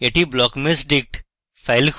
এটি blockmeshdict file খুলবে